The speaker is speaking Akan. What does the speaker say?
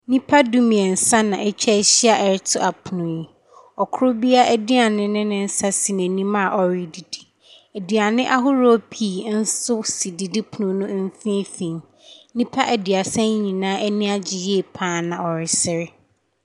Nnipa du mmeɛnsa na atwa ahyia ɛreto apono yi, ɔkro biaa aduane ne ne nsa si n'anim a ɔredidi, aduane ahoroɔ pii nso si didipono no mfinfin, nnipa aduasa yi nyinaa ani agye yie paa na ɔresre.